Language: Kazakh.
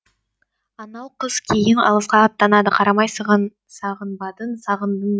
анау қыз кейін алысқа аттанады қарамай сағынбадың сағындың не